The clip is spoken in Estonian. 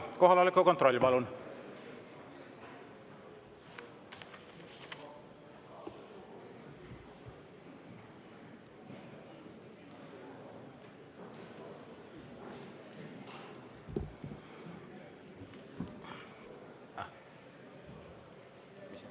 Kohaloleku kontroll, palun!